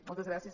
moltes gràcies